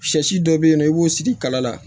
Shɛsi dɔ bɛ yen nɔ i b'o sigi kala la